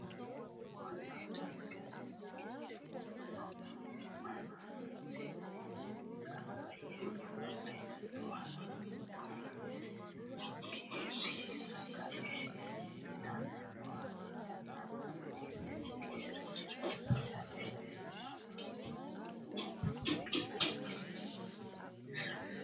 Konne darga geedhino manni miteenni gambaye ofole nooha kunni geeri sagale itanni nooha ikanna konni geerira sagale makeenna uyinnanni hee'noonnisa?